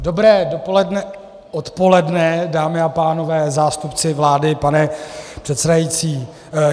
Dobré odpoledne, dámy a pánové, zástupci vlády, pane předsedající.